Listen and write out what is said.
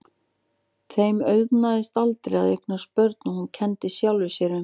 Þeim auðnaðist aldrei að eignast börn og hún kenndi sjálfri sér um.